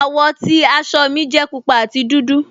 Awọ́ ti àṣọ́ mi jẹ̀ púpà àti dúdú.